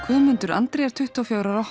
Guðmundur Andri er tuttugu og fjögurra ára